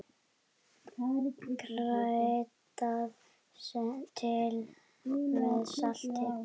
Kryddað til með salti.